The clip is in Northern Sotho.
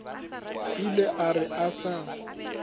ile a re a sa